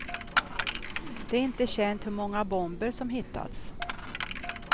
Det är inte känt hur många bomber som hittats.